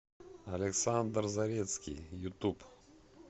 александр зарецкий ютуб